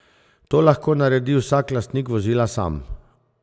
To lahko naredi vsak lastnik vozila sam.